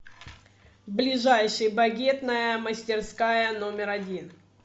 ближайший багетная мастерская номер один